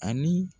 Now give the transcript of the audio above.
Ani